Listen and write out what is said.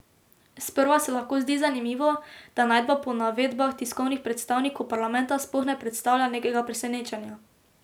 Sprva se lahko zdi zanimivo, da najdba po navedbah tiskovnih predstavnikov parlamenta sploh ne predstavlja nekega presenečenja.